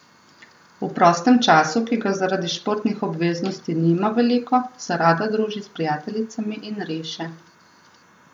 V prostem času, ki ga zaradi športnih obveznosti nima veliko, se rada druži s prijateljicami in riše.